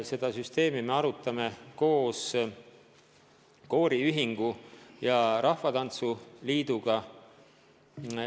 Seda süsteemi me arutame koos kooriühingu inimeste ja rahvatantsujuhtidega.